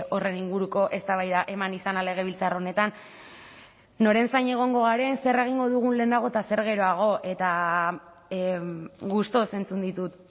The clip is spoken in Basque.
horren inguruko eztabaida eman izana legebiltzar honetan noren zain egongo garen zer egingo dugun lehenago eta zer geroago eta gustuz entzun ditut